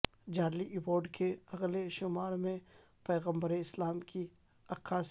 Charlie Hebdo کے اگلے شمارے میں پیغمبر اسلام کی عکاسی